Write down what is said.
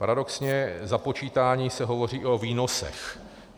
Paradoxně, započítání se hovoří i o výnosech.